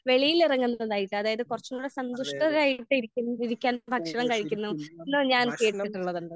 വെളിയിൽ ഇറങ്ങുന്നതായിട്ട് അതായത് കുറച്ചും കൂടി സന്തുഷ്ടരായിട്ട് ഇരിക്കുന്നത് ഇരിക്കാൻ ഭക്ഷണം കഴിക്കുന്നു എന്ന് ഞാൻ കേട്ടിട്ടുള്ളത്.